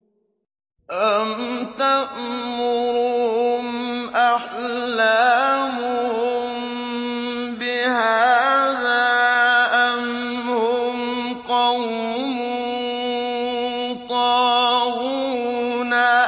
أَمْ تَأْمُرُهُمْ أَحْلَامُهُم بِهَٰذَا ۚ أَمْ هُمْ قَوْمٌ طَاغُونَ